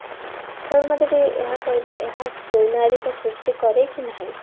ତମେ ମତେ ଟିକେ ଏହା କହିଲ ଏହା ସୁନାଗରିକ ସୃଷ୍ଟି କରେ କି ନାହିଁ